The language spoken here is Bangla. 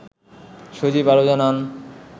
সজীব আরও জানান